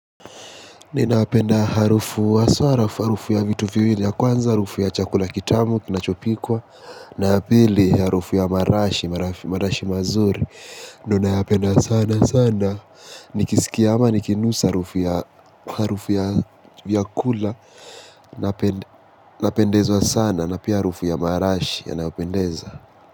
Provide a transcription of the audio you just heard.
Ninapenda harufu haswa harafu, harufu ya vitu viwili ya kwanza, harufu ya chakula kitamu, kinachopikwa. Na ya pili harufu ya marashi, marashi mazuri. Ninayapenda sana sana, nikisikia ama nikinusa harufu ya vyakula napendeza sana na pia harufu ya marashi yanapendeza.